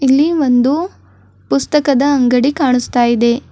ಇಲ್ಲಿ ಒಂದು ಪುಸ್ತಕದ ಅಂಗಡಿ ಕಾಣಿಸ್ತಾಇದೆ.